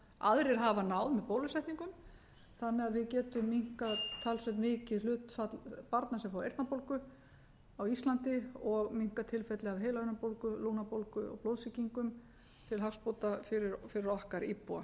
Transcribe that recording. aðrir hafa náð með bólusetningum þannig að við getum minnkað talsvert mikið hlutfall barna sem fá eyrnabólgu á íslandi og minnkað tilfelli af heilahimnubólgu lungnabólgu og blóðsýkingum til hagsbóta fyrir okkar íbúa